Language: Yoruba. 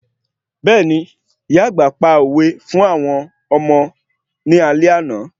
Bẹ́ẹ̀ni, ìyá àgbà pa òwe fún àwọn ọmọ ní àlẹ́ àná